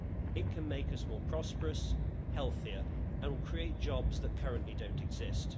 It can make us more prosperous, healthier and create jobs that currently don't exist.